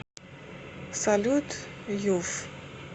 салют юф